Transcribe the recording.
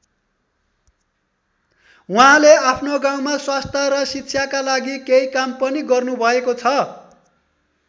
उहाँले आफ्नो गाउँमा स्वास्थ्य र शिक्षाका लागि केही काम पनि गर्नुभएको छ।